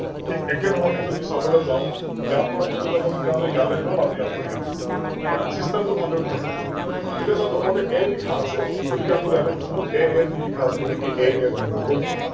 ঠিক একেধৰণে যদি চাবলৈ যাও ইয়াৰ পৰা কলৈ যাব তেতিয়া হলে ইয়ালৈ গল আৰু ইয়াৰ পৰা ইয়ালৈ গল । System টো ভালদৰে বুজি লব । এতিয়া চাওক প্ৰথমতে A লিখা আছে গতিকে আমি ইয়ালৈ গুছি গল AAB লিখা আছে গতিকে AAB হৈ গল